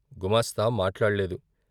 గుమాస్తా మాట్లాడలేదు.